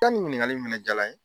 nin ɲininkali fɛnɛ jaala n ye.